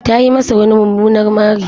Ta yi masa wani mumunar mari.